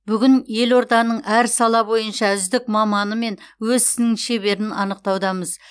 бүгін елорданың әр сала бойынша үздік маманы мен өз ісінің шеберін анықтаудамыз